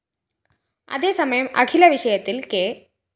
അതേസമയം അഖില വിഷയത്തില്‍ കെ